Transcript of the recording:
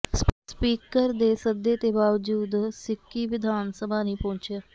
speaker ਦੇ ਸੱਦੇ ਦੇ ਬਾਵਜੂਦ ਸਿੱਕੀ ਵਿਧਾਨ ਸਭਾ ਨਹੀਂ ਪਹੁੰਚਿਆ